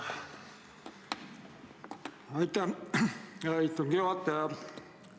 Aitäh, hea istungi juhataja!